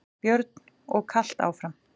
Björn: Og kalt áfram?